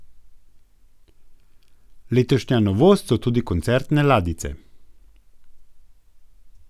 Letošnja novost so tudi koncertne ladjice.